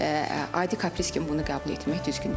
Adi kapriz kimi bunu qəbul etmək düzgün deyil.